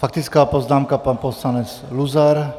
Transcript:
Faktická poznámka pan poslanec Luzar.